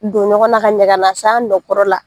Don ɲɔgɔn na ka ɲa ka na s'a nɔkɔrɔ la.